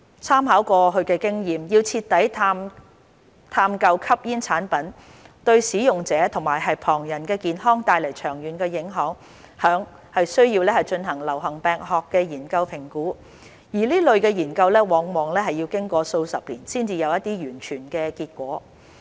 參考過去經驗，要徹底探究吸煙產品對使用者和旁人的健康帶來的長遠影響，須進行流行病學研究評估，而這類研究往往要經過數十年才有完全結果。